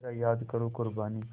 ज़रा याद करो क़ुरबानी